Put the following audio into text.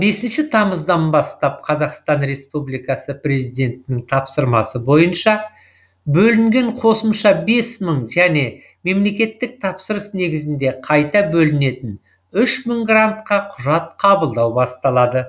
бесінші тамыздан бастап қазақстан республикасы президентінің тапсырмасы бойынша бөлінген қосымша бес мың және мемлекеттік тапсырыс негізінде қайта бөлінетін үш мың грантқа құжат қабылдау басталады